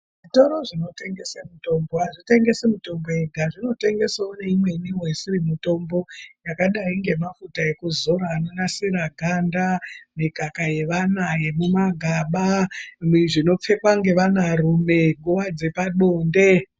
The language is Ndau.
Zvitoro zvinotengesa mitombo azvitengesi mitombo yega zvinotengesawo zvakawanda, zvinotengesawo imweni isi mitombopi yakadai ngemafuta ekudzora anonasira ganda, mikaka yevana yemumagaba, neino pfekwa ngevanarume panguva yebonde.